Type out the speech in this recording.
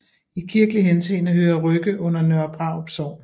I kirkelig henseende hører Rygge under Nørre Brarup Sogn